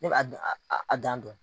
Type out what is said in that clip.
Ne b'a a dan dɔn.